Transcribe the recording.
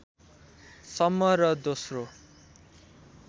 सम्म र दोस्रो